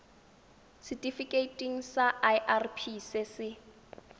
setifikeiting sa irp se se